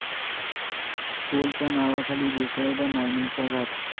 टोलच्या नावाखाली बेकायदा मायनिंगचा घाट